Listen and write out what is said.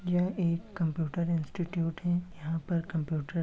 यह एक computer institute है। यहाँ पर कंप्यूटर --